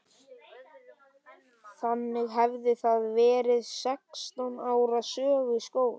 Þannig hefði það verið sextán ára sögu skólans.